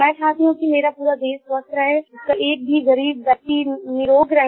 मैं चाहती हूँ कि मेरा पूरा देश स्वस्थ रहे उसका ग़रीब व्यक्ति भी निरोग रहे